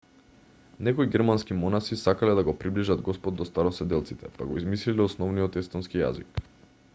некои германски монаси сакале да го приближат господ до староседелците па го измислиле основниот естонски јазик